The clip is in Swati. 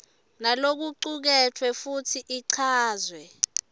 nalokucuketfwe futsi ichazwe